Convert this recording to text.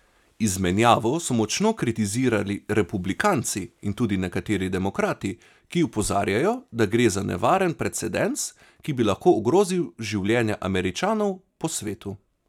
Izmenjavo so močno kritizirali republikanci in tudi nekateri demokrati, ki opozarjajo, da gre za nevaren precedens, ki bi lahko ogrozil življenja Američanov po svetu.